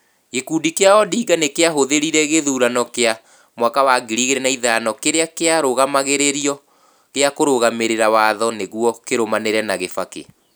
Gĩkundi kĩa Odinga nĩ kĩahũthĩrire gĩthurano kĩa 2005 kĩrĩa kĩarũgamagĩrĩrio gĩa kũrũgamĩrĩra Watho nĩguo kĩrũmanĩre na Kibaki.